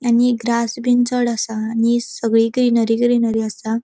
आणि ये ग्रास बिन चड़ असा आणि ये सगळी ग्रीनरी ग्रीनरी असा.